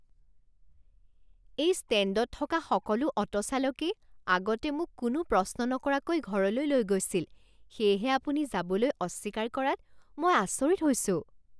এই ষ্টেণ্ডত থকা সকলো অ'টো চালকেই আগতে মোক কোনো প্ৰশ্ন নকৰাকৈ ঘৰলৈ লৈ গৈছিল সেয়েহে আপুনি যাবলৈ অস্বীকাৰ কৰাত মই আচৰিত হৈছোঁ!